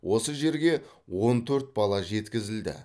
осы жерге он төрт бала жеткізілді